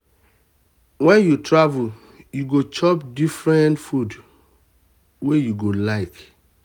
wen you travel you go chop different different food wey you go like.